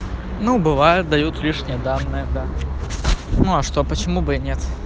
ну бывают дают лишние данные да ну а что почему бы и нет